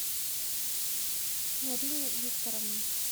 нарине викторовной